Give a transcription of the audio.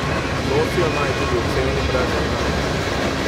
Nosijo naj tudi odsevni brezrokavnik.